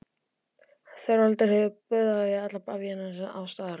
THEODÓRA: Þorvaldur hefur boðað alla bavíana staðarins á ráðstefnu.